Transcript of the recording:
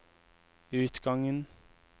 utgangen